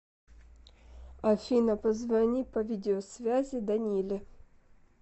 афина позвони по видеосвязи даниле